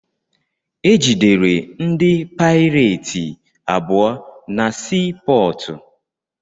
Egidere ndị paireti abụọ na sii pọọtụ.